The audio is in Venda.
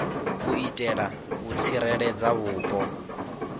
u itela u tsireledza vhupo